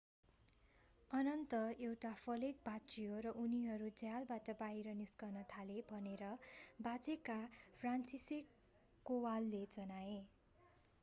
अन्तत एउटा फलेक भाँचियो र उनीहरू झ्यालबाट बाहिर निस्कन थाले भनेर बाँचेका फ्रान्सिसेक कोवालले जनाए